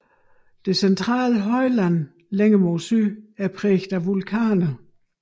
Det centrale højland længere mod syd er præget af vulkaner